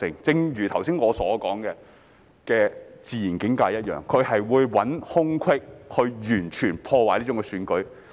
正如剛才我所說的"自然境界"一樣，他們會找空隙去完全破壞選舉。